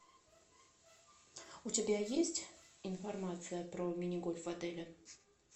у тебя есть информация про мини гольф в отеле